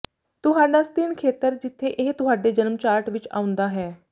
ਤੁਹਾਡਾ ਸਤਿਣ ਖੇਤਰ ਜਿੱਥੇ ਇਹ ਤੁਹਾਡੇ ਜਨਮ ਚਾਰਟ ਵਿੱਚ ਆਉਂਦਾ ਹੈ